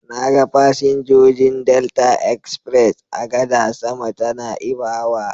Na ga fasinjojin Delta express a gadar sama ta Na'ibawa.